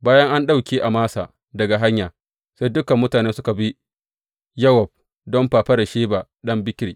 Bayan an ɗauke Amasa daga hanya, sai dukan mutane suka bi Yowab don fafaran Sheba ɗan Bikri.